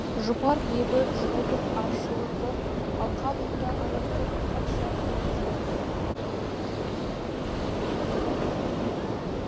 жұпар лебі жұбытып аршылы қыр алқабыңда адасып қанша әнім жүр